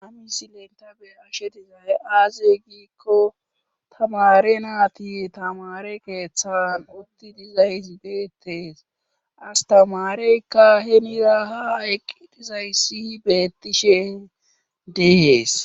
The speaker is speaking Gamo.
Hay tani be7ashe dizay aaze giikko tamare naati tamare keeththan utti diizayzi beettees astamareykka he mida ha eqqidizayssihi beettishe deehees.